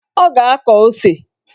Ọ ga-akọ ose.